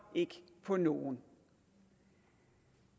på nogen